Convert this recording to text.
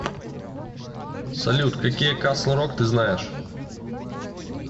салют какие касл рок ты знаешь